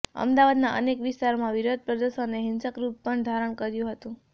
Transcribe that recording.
અમદાવાદના અનેક વિસ્તારોમાં વિરોધ પ્રદર્શનએ હિંસક રૂપ પણ ધારણ કર્યું હતું